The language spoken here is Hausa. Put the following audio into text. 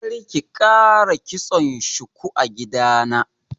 Karki ƙara kitson shuku a gidana.